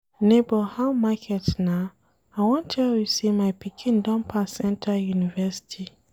Nebor how market na? I wan tell you sey my pikin don pass enta university.